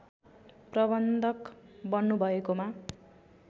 प्रबन्धक बन्नुभएकोमा